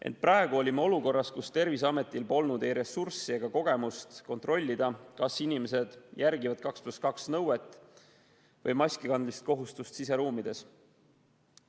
Ent praegu olime olukorras, kus Terviseametil polnud ei ressurssi ega kogemust kontrollida, kas inimesed järgivad 2 + 2 nõuet või siseruumides maski kandmise kohustust.